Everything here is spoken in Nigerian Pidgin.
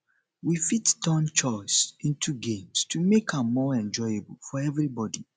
we fit turn chores into games to make am more enjoyable for everybody